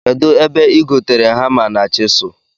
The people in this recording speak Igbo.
Kedụ ebe ị gotere hama na chịsụl